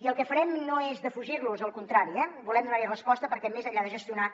i el que farem no és defugir los al contrari eh volem donar hi resposta perquè més enllà de gestionar